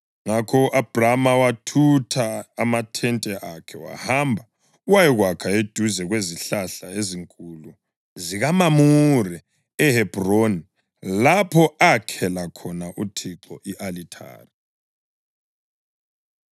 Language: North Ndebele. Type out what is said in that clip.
Ngakho u-Abhrama wathutha amathente akhe wahamba wayakwakha eduze kwezihlahla ezinkulu zikaMamure eHebhroni, lapho akhela khona uThixo i-alithari.